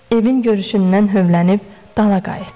Evin görüşündən hövələnib dala qayıtdı.